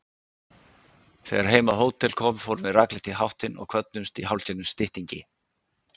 Þegar heim á hótel kom fórum við rakleitt í háttinn og kvöddumst í hálfgerðum styttingi.